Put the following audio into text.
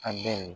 An bɛ